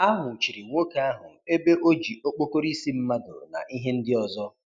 A nwụchiri nwoke ahụ ebe o ji okpokoro isi mmadụ na ihe ndị ọzọ.